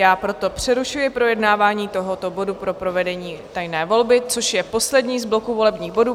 Já proto přerušuji projednávání tohoto bodu pro provedení tajné volby, což je poslední z bloku volebních bodů.